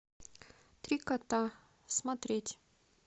три кота смотреть